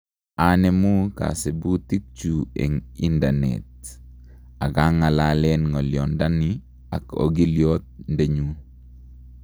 anemuu kasibutikchu en indanet agengalalen ngolyondani ak ogilyoot-ndenyun